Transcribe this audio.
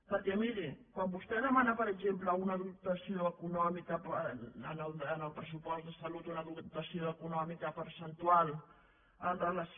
perquè miri quan vostè demana per exemple en el pressupost de salut una dotació econòmica percentual amb relació